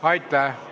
Aitäh!